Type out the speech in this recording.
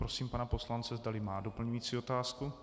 Prosím pana poslance, zdali má doplňující otázku.